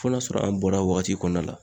Fɔ n'a sɔrɔ an bɔr'a wagati kɔnɔna la